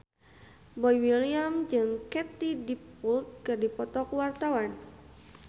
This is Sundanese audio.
Boy William jeung Katie Dippold keur dipoto ku wartawan